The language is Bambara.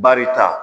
Barika